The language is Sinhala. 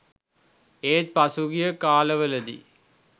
ඒත් පසුගිය කාලවලදී